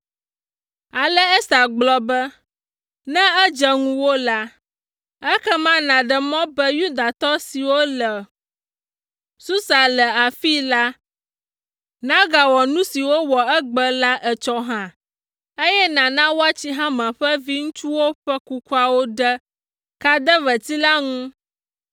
Ale Ester gblɔ be, “Ne edze ŋuwò la, ekema nàɖe mɔ be Yudatɔ siwo le Susa le afii la, nagawɔ nu si wowɔ egbe la etsɔ hã, eye nàna woatsi Haman ƒe viŋutsuwo ƒe kukuawo ɖe kadeveti la ŋu.”